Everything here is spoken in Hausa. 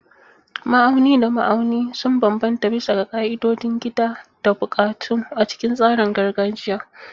Ma'auni da ma'auni sun bambanta bisa ga ƙa'idodin gida da buƙatu a cikin tsarin gargajiya.